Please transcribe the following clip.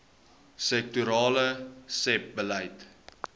sektorale sebbeleid